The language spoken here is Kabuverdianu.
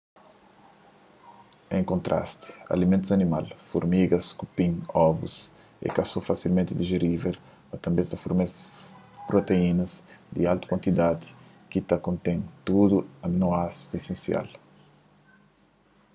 en kontrasti alimentus animal furmigas kupin ovus é ka so fasilmenti dijerível mas tanbê es ta fornese proteínas di altu kuantidadi ki ta kontén tudu aninoásidu esensial